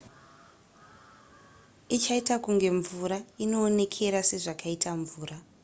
ichaita kunge mvura inoonekera sezvakaita mvura